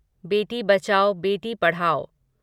बेटी बचाओ बेटी पढ़ाओ